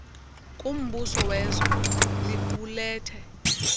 kumbuso wezwe liqulethe